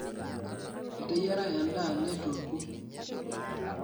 Eteyiara ndaa neitueku